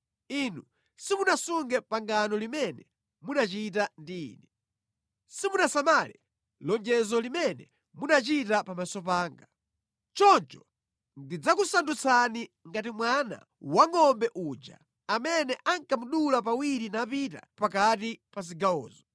Inu simunasunge pangano limene munachita ndi Ine. Simunasamale lonjezo limene munachita pamaso panga. Choncho ndidzakusandutsani ngati mwana wangʼombe uja amene ankamudula pawiri napita pakati pa zigawozo.